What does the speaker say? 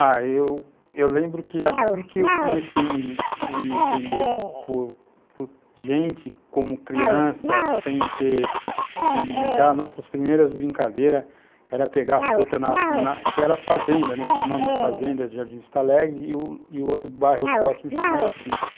Ah, eu lembro que assim que eu comecei a me me entender por por gente, como criança, sem ter onde brincar, nossas primeiras brincadeiras era pegar fruta na na, que era fazenda, tinha o nome de fazenda, Jardim Vistalegre, e o o outro bairro próximo chamava Sítio.